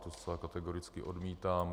To zcela kategoricky odmítám.